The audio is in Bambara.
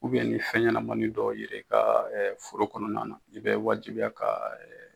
ni fɛnɲɛnamani dɔw yeli i ka foro kɔnɔ na na i bɛ wajibiya ka.